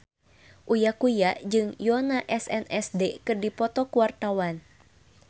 Uya Kuya jeung Yoona SNSD keur dipoto ku wartawan